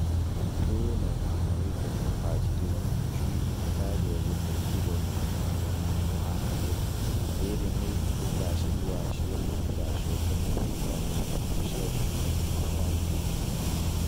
Undũ ũyũ no mũhaka wĩko na ũbacarĩru njui itikae gũte kirũ na mũhananĩre, riri na ũgacĩru wacio itigacoke na thutha na ikuũ cia njui itikaingĩhe.